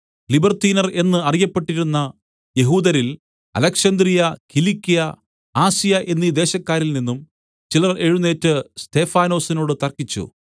ലിബർത്തീനർ എന്ന് അറിയപ്പെട്ടിരുന്ന യഹൂദരിൽ അലെക്സന്ത്രിയ കിലിക്യ ആസ്യ എന്നീ ദേശക്കാരിൽ നിന്നും ചിലർ എഴുന്നേറ്റ് സ്തെഫാനൊസിനോട് തർക്കിച്ചു